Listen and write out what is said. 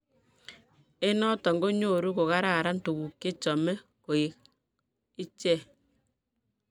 eng noto konyoru kogararan tuguk chechame koek iche